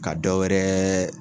Ka dɔwɛrɛ